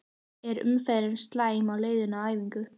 Er umferðin slæm á leiðinni á æfingu?